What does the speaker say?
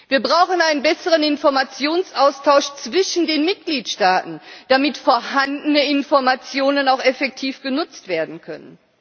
Wir brauchen einen besseren Informationsaustausch zwischen den Mitgliedstaaten, damit vorhandene Informationen auch effektiv genutzt werden können.